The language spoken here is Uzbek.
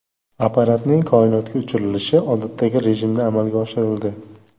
Apparatning koinotga uchirilishi odatdagi rejimda amalga oshirildi.